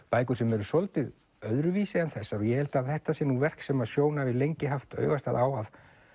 bækur sem eru svolítið öðruvísi en þessar ég held að þetta sé nú verk sem að Sjón hefur lengi haft augastað á að